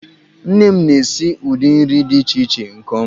Nne m na-esi ụdị nri dị iche iche nke ọma.